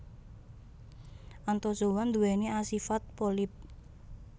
Anthozoa nduwèni asifat polip